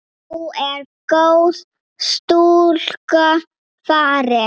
Nú er góð stúlka farin.